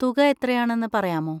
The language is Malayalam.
തുക എത്രയാണെന്ന് പറയാമോ?